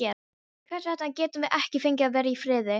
Hvers vegna getum við ekki fengið að vera í friði?